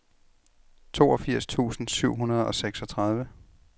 toogfirs tusind syv hundrede og seksogtredive